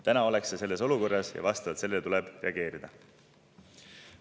Täna ollakse sellises olukorras ja vastavalt sellele tuleb reageerida.